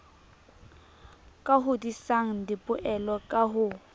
ka hodisang dipoelo ka ho